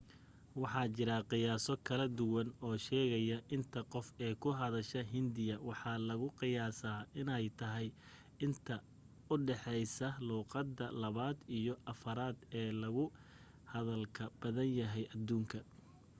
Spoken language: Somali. waxa jira qiyaaso kala duwan oo sheegaya inta qof ee ku hadla hindiga waxa lagu qiyaasaa inay tahay inta u dhexaysa luuqadda labaad iyo afraad ee loogu hadalka badan yahay adduunka